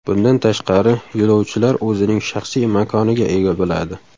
Bundan tashqari, yo‘lovchilar o‘zining shaxsiy makoniga ega bo‘ladi.